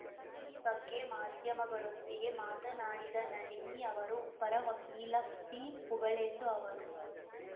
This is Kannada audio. ಈ ಬಗ್ಗೆ ಮಾಧ್ಯಮಗಳೊಂದಿಗೆ ಮಾತನಾಡಿದ ನಳಿನಿ ಅವರು ಪರ ವಕೀಲ ಪಿ ಪುಗಳೆಂದು ಅವರು